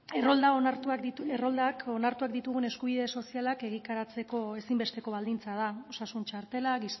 errolda onartuak dituen erroldak onartuak ditugun eskubide sozialak egikaritzeko ezinbesteko baldintza da osasun txartela